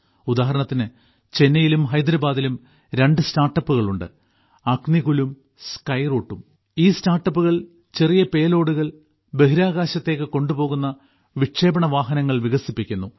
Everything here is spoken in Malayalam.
ഉദാഹരണത്തിന് ചെന്നൈയിലും ഹൈദരാബാദിലും രണ്ട് സ്റ്റാർട്ടപ്പുകൾ ഉണ്ട് അഗ്നികുലും സ്കൈറൂട്ടും ഈ സ്റ്റാർട്ടപ്പുകൾ ചെറിയ പേ ലോഡുകൾ ബഹിരാകാശത്തേക്ക് കൊണ്ടുപോകുന്ന വിക്ഷേപണ വാഹനങ്ങൾ വികസിപ്പിക്കുന്നു